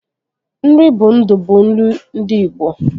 Nri bụ ndụ bụ ilu ndị Ịgbo